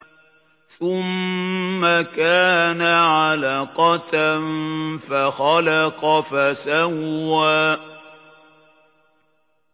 ثُمَّ كَانَ عَلَقَةً فَخَلَقَ فَسَوَّىٰ